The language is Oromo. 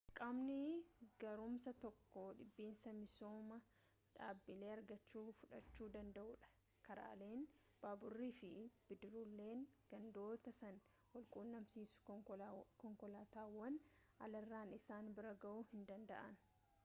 qaamni gaarummaasaa tokko dhibiinsa misooma dhaabbilee argamuu fudhachu danda'uudha karaaleen baaburri fi bidiruuleen gandoota san wal-quunnamsiisan konkolaataawwan alarraan isaan bira ga'uu hin danda'an